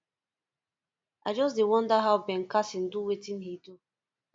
i just dey wonder how ben carson do wetin he do